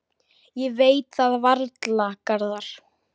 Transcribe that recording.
Ég veit það varla, Garðar.